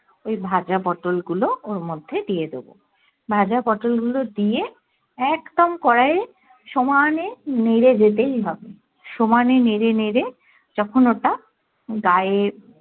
ওই ভাজা পটোল গুলো ওর মধ্যেই দিয়ে দেবো ভাজা পটোল গুলো দিয়ে একদম কড়াইয়ে সমানে নেড়ে যেতেই হবে সমানে নেড়ে নেড়ে যখন ওটা গায়ে